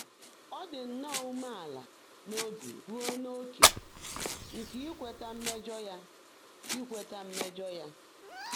Ọ́ ḍị́ nnọ́ọ́ úméélá n’óbi rúó n’óké nkè íkwéetá mmèjọ́ yá. íkwéetá mmèjọ́ yá.